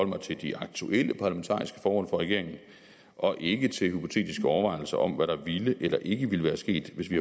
mig til de aktuelle parlamentariske forhold for regeringen og ikke til hypotetiske overvejelser om hvad der ville eller ikke ville være sket hvis vi